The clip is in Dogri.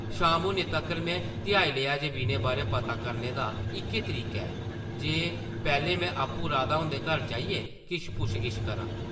शाम होने तक्कर में ध्याई लेआ जे विनय बारै पता करने दा इक्कै तरीका ऐ जे पैह्लें में आपूं राधा हुंदे घर जाइयै किश पुच्छ-गिच्छ करां ।